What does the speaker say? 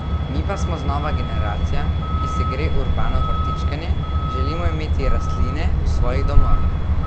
Mi pa smo znova generacija, ki se gre urbano vrtičkanje, želimo imeti rastline v svojih domovih.